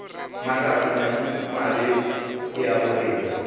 mahlatse madimabe ke a borena